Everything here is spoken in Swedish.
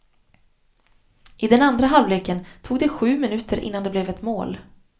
I den andra halvleken tog det sju minuter innan det blev ett mål.